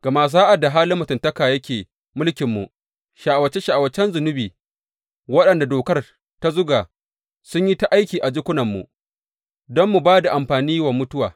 Gama sa’ad da halin mutuntaka yake mulkinmu, sha’awace sha’awacen zunubi waɗanda dokar ta zuga sun yi ta aiki a jikunanmu, don mu ba da amfani wa mutuwa.